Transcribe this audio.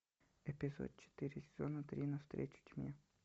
эпизод четыре сезона три на встречу тьме